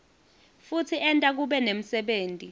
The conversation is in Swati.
futsi enta kube nemsebenti